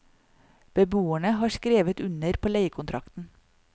Beboerne har skrevet under på leiekontrakten.